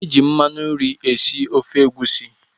E ji mmanụ nri esi ofe egusi.